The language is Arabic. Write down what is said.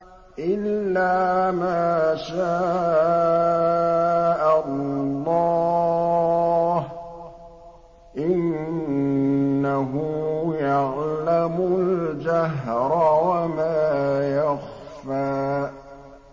إِلَّا مَا شَاءَ اللَّهُ ۚ إِنَّهُ يَعْلَمُ الْجَهْرَ وَمَا يَخْفَىٰ